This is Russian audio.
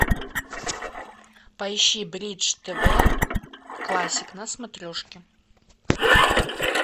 поищи бридж тв классик на смотрежке